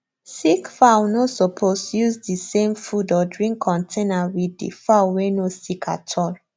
sick fowl no suppose use the same food or drink countainer with the fowl way no sick at all